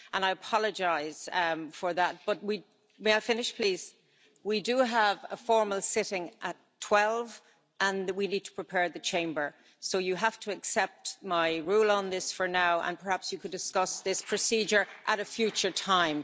I apologise for that, but we do have a formal sitting at 12 and we need to prepare the Chamber, so you have to accept my ruling on this for now, and perhaps you could discuss this procedure at a future time.